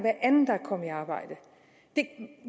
kommet i arbejde det